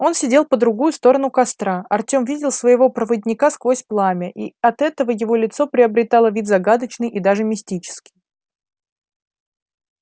он сидел по другую сторону костра артём видел своего проводника сквозь пламя и от этого его лицо приобретало вид загадочный и даже мистически